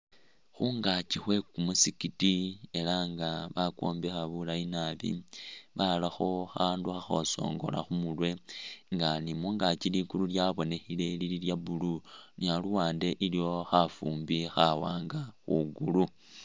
Khungaakyi khwe kumusikiti ela nga bakwombekha buleyi nabi barakho khandu khakhosongola khumurwe nga ni mungaakyi ligulu lyabonekhile lili lya blue ni aluwande iliwo khafumbi khawanga khugulu